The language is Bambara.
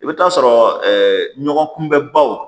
I bɛ t'a sɔrɔ ɲɔgɔn kunbɛbaw